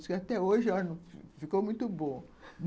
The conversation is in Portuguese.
Diz que até hoje, olha, ficou muito bom.